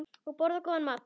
Og borða góðan mat.